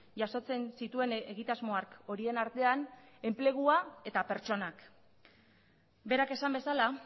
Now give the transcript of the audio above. jasotzen zituen egitasmoak horien artean enplegua eta pertsonak berak esan bezala